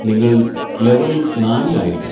നിങ്ങൾ ലെവൽ നാലിൽ ആയിരിക്കും.